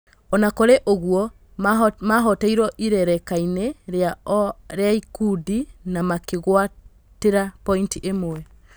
Ona kũrĩ ũguo mahoteirwo ikerekainĩ rĩ a ikundi na makĩ gwatĩ ra pointi ĩ mwe.